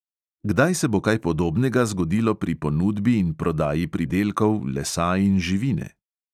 Kdaj se bo kaj podobnega zgodilo pri ponudbi in prodaji pridelkov, lesa in živine?